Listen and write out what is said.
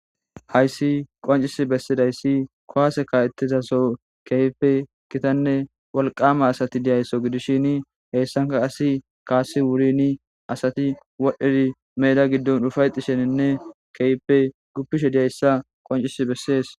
hayssi qoncis bessidayssi kowase kawettizaso keype kitanne wolqama asati diyaysso gidishin heyssanka asi kaasi wurini asati wodheri meda giddon dhufayxisheninne keeyppe guppishe diyayssa qoncis bessees